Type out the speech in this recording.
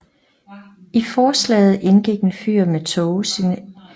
I forslaget indgik et fyr med tågesignal på Gullholmen